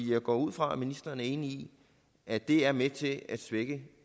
jeg går ud fra at ministeren er enig i at det er med til at svække